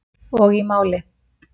Og í máli